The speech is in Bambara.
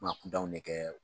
Maa kundaw bɛ kɛ